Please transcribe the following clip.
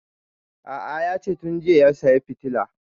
A'a yace tun jiya ya saya fitilan